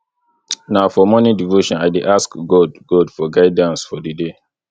na for morning devotion i dey ask god god for guidance for di day